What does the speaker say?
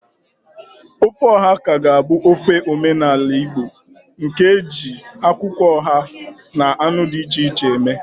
Ofe oha ka ga-abụ ofe omenala Igbo nke e ji akwụkwọ oha na anụ dị iche iche eme.